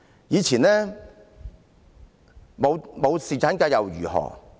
以前沒有侍產假又如何？